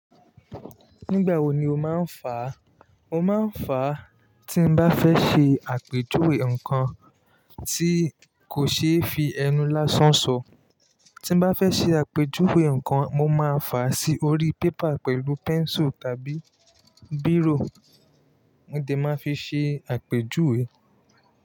Nígbà wo ni o máa ń fá? Mo máa ń fá tí n bá fẹ́ ṣe àpéjúwe nǹkan tí kò ṣe é fi ẹnu lásán sọ. Tí n bá fẹ́ ṣe àpéjúwe nǹkan, mo máa fà á sí orí paper pẹ̀lú pencil tàbí biro mo dẹ máa fi ṣe àpéjúwe.